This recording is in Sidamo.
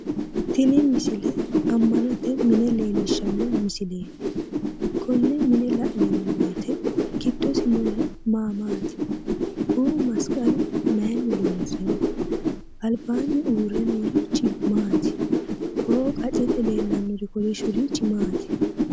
Tini misile amanote mine leellishshanno misileeti, konne mine la'neemmo woyte giddosi noohu maa maati?ku"u masiqqalu mayiinni loonsoho? albaanni uurre noorichi maati? Ko"o qaccete leellawori kolishshurichi maati?